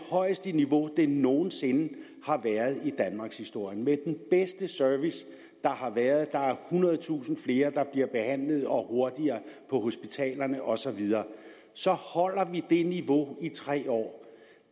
højeste niveau de nogen sinde har været i danmarkshistorien med den bedste service der har været der er ethundredetusind flere der bliver behandlet og hurtigere på hospitalerne og så videre og så holder det niveau i tre år er